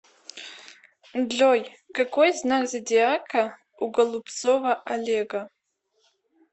джой какой знак зодиака у голубцова олега